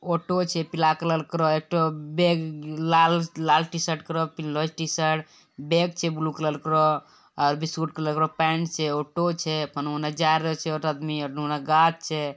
Auto छै पीला colour करो है ठो बैग लाल लाल टी- शर्ट करो पहनले टी -शर्ट बैग छे ब्लू कलर करो और भी के पैन्ट छै। ऑटो छै फिन ओने जा रहल छई एगो आदमी और ओने गाछ छै।